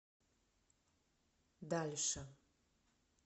дальше